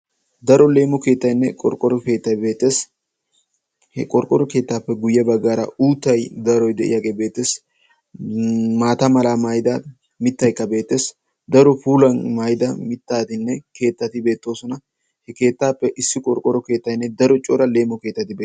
Daro leemo keettayinne qorqqorro keettay beetes. Hagan daro qorqqoro keettayinne ubba qassikka leemo keettay beettes.